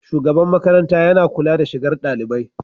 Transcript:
shugaban makaranta yana kula da shigar dalibai.